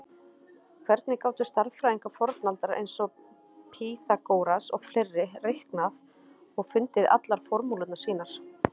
Hvernig gátu stærðfræðingar fornaldar eins og Pýþagóras og fleiri reiknað og fundið allar formúlurnar sínar?